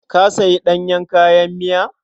Ka sayi ɗanyen kayan miya?